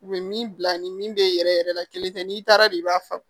U bɛ min bila ni min bɛ yɛrɛ yɛrɛ la kelen tɛ n'i taara don i b'a fa